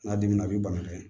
N'a dimina a b'i bana kelen